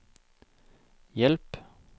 hjelp